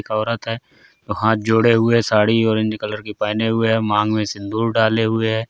एक औरत है वो हाथ जोड़े हुए साड़ी ऑरेंज कलर की पहने हुए है मांग में सिंदूर डाले हुए है।